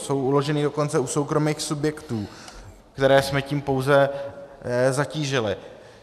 Jsou uložena dokonce u soukromých subjektů, které jsme tím pouze zatížili.